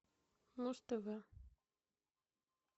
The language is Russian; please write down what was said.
муз тв